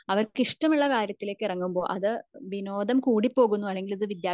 അവർക്ക് ഇഷ്ടമുള്ള കാര്യത്തിലേക്കു ഇറങ്ങുമ്പോ അത് വിനോദം കൂടി പോകുന്നു അല്ലെങ്കിൽ അത് വിദ്യാഭ്യാസത്തിന്ന്